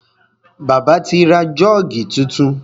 Bàbá ti ra Jọ́ọ̀gì tuntun.